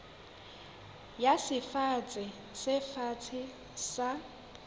ya sefafatsi se fatshe sa